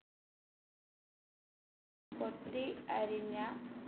കൊത്തി അരിഞ്ഞ